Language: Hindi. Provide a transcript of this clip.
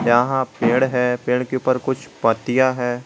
यहां पेड़ है पेड़ के ऊपर कुछ पत्तियां हैं।